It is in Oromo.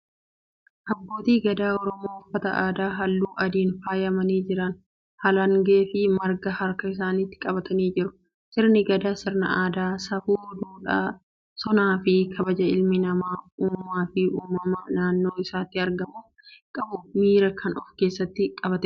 Abbootii gadaa Oromoo uffata aadaa halluu adiin faayamanii jiran. Halangee fi marga harka isaaniitti qabatanii jiru. Sirni gadaa sirna aadaa, safuu, duudhaa, sonaa fi kabaja ilmi namaa uumaa fi uumama naannoo isaatti argamuuf qabu mara kan ofkeessatti qabatedha.